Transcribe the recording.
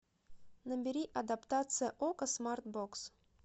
набери адаптация окко смарт бокс